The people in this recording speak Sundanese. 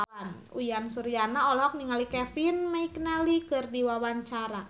Uyan Suryana olohok ningali Kevin McNally keur diwawancara